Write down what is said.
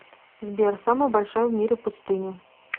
сбер самая большая в мире пустыня